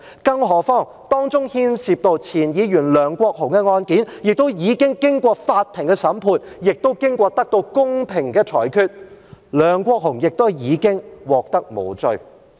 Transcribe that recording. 更何況，當中牽涉到前議員梁國雄的案件，已經經過法庭審判，亦得到公平的裁決，梁國雄亦已經獲判無罪。